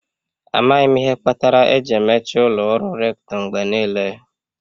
Amaghị m ihe kpatara eji emechi ụlọ ọrụ Rector mgbe niile.